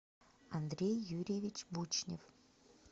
андрей юрьевич бучнев